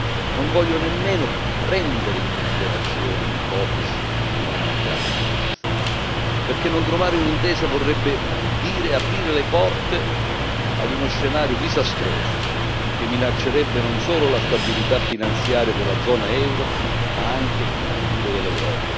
Non voglio nemmeno prendere in considerazione l'ipotesi di una mancata intesa, perché non trovare un'intesa vorrebbe dire aprire le porte a uno scenario disastroso che minaccerebbe non solo la stabilità finanziaria della zona euro, ma anche il futuro dell'Europa.